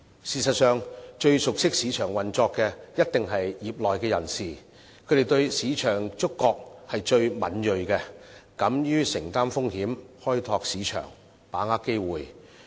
事實上，最熟悉市場運作的，一定是業內人士，他們對市場的觸覺最敏銳，敢於承擔風險，開拓市場，把握機會。